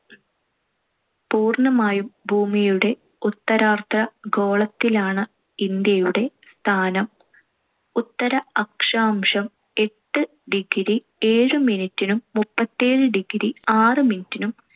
പൂർണ്ണമായും ഭൂമിയുടെ ഉത്തരാർദ്ധ ഗോളത്തിലാണ്‌ ഇന്ത്യയുടെ സ്ഥാനം. ഉത്തര അക്ഷാംശം എട്ട് degree ഏഴ് minute നും മുപ്പത്തിയേഴ് degree ആറ് minute നും